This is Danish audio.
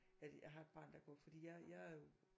At jeg har et barn der går fordi jeg er jo